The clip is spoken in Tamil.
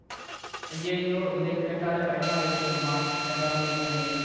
அய்யய்யோ இதை கேட்டாலே பயமா இருக்குது அம்மா என்றாள் என் மனைவி